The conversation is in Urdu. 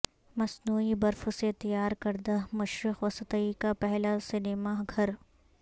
مصنوعی برف سے تیار کردہ مشرق وسطی کا پہلا سینما گھر